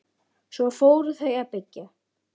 Svo fóru þau að byggja.